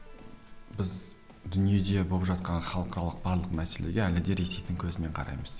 біз дүниеде болып жатқан халықаралық барлық мәселеге әлі де ресейдің көзімен қараймыз